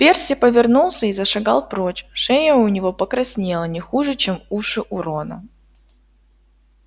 перси повернулся и зашагал прочь шея у него покраснела не хуже чем уши у рона